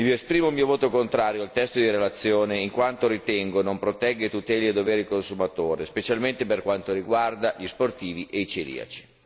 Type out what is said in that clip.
Esprimo il mio voto contrario al testo di relazione, in quanto ritengo non protegga e tuteli a dovere il consumatore, specialmente per quanto riguarda gli sportivi e i celiaci.